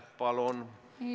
Palun!